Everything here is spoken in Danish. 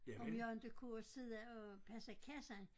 Om jeg inte kunne sidde og passe kassen